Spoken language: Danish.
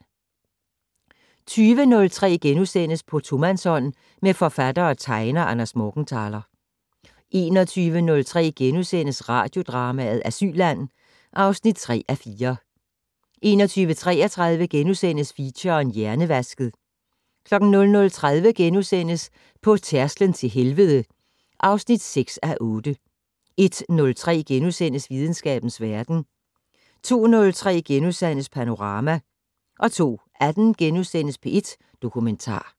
20:03: På tomandshånd med forfatter og tegner Anders Morgenthaler * 21:03: Radiodrama: Asylland (3:4)* 21:33: Feature: Hjernevasket * 00:30: På tærsklen til helvede (6:8)* 01:03: Videnskabens Verden * 02:03: Panorama * 02:18: P1 Dokumentar *